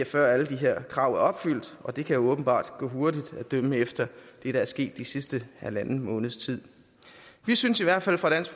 før alle de her krav er opfyldt og det kan jo åbenbart gå hurtigt at dømme efter det der er sket den sidste halvanden måneds tid vi synes i hvert fald fra dansk